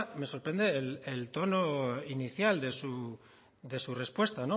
me sorprende el tono inicial de su respuesta